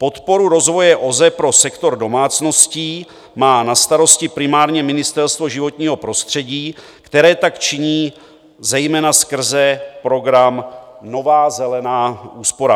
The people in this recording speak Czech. Podporu rozvoje OZE pro sektor domácností má na starost primárně Ministerstvo životního prostředí, které tak činí zejména skrze program Nová zelená úsporám.